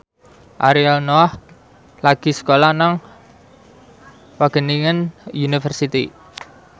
Ariel Noah lagi sekolah nang Wageningen University